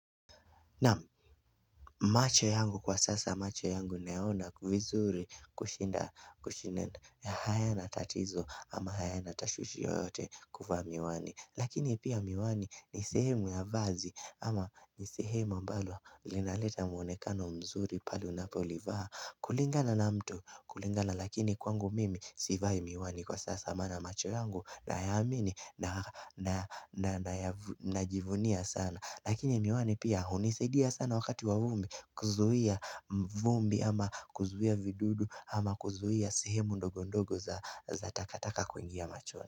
Naam macho yangu kwa sasa macho yangu neona kufizuri kushinda hayana tatizo ama hayana tashwishi yoyote kuvaa miwani Lakini pia miwani ni sehemu ya vazi ama ni sehemu ambalo linaleta muonekano mzuri pale unapolivaa kulingana na mtu kulingana lakini kwangu mimi sivai miwani kwa sasa mana macho yangu na yamini na najivunia sana Lakini miwani pia hunisadia sana wakati wa vumbi kuzuia vumbi ama kuzuia vidudu ama kuzuia sehemu ndogondogo za takataka kuingia machoni.